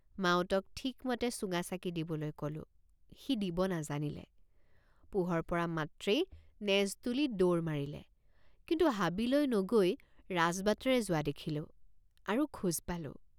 মাউতক ঠিকমতে চুঙাচাকি টৰ্চ দিবলৈ কলোঁ সি দিব নাজানিলে পোহৰ পৰা মাত্ৰেই নেজ তুলি দৌৰ মাৰিলে কিন্তু হাবিলৈ নগৈ ৰাজবাটেৰে যোৱা দেখিলোঁ আৰু খোজ পালোঁ।